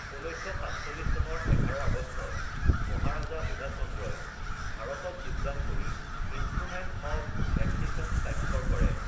১৯৪৭ চনৰ ১১ আগষ্টত মহাৰাজা বুধাচন্দ্ৰই ভাৰতত যোগদান কৰি ইনষ্ট্ৰোমেণ্ট অৱ এক্সেশ্বন স্বাক্ষৰ কৰে।